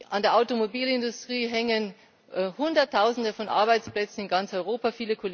An der Automobilindustrie hängen Hunderttausende von Arbeitsplätzen in ganz Europa.